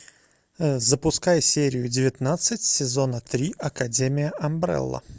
запускай серию девятнадцать сезона три академия амбрелла